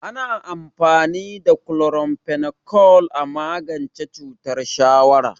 Ana amfani da chloramphenicol a magance cutar shawara.